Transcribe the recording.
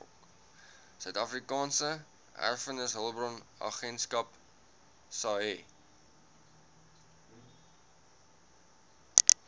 suidafrikaanse erfenishulpbronagentskap saeha